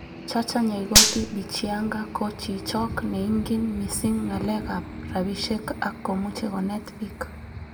Chacha Nyaigoti Bichianga ko chichok neingin missing ngalekab rabishek ak komuche konet bik.